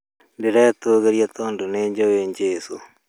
Ndiretũgĩrĩa tondũ nĩ njũĩ jesũ